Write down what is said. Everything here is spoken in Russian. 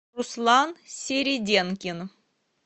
руслан середенкин